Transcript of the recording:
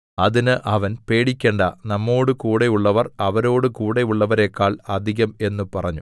അതിന് അവൻ പേടിക്കേണ്ടാ നമ്മോടുകൂടെയുള്ളവർ അവരോടു കൂടെയുള്ളവരെക്കാൾ അധികം എന്ന് പറഞ്ഞു